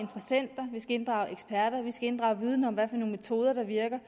vi skal inddrage eksperter at vi skal inddrage viden om hvilke metoder der virker